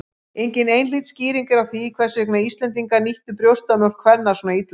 Engin einhlít skýring er á því hvers vegna Íslendingar nýttu brjóstamjólk kvenna svona illa.